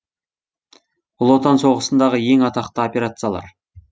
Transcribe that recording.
ұлы отан соғысындағы ең атақты операциялар